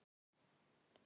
Hreint alls ekki.